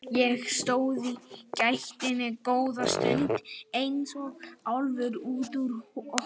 Ég stóð í gættinni góða stund eins og álfur út úr hól.